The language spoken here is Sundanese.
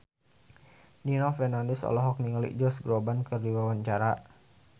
Nino Fernandez olohok ningali Josh Groban keur diwawancara